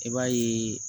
I b'a ye